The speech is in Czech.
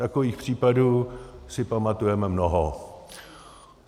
Takových případů si pamatujeme mnoho.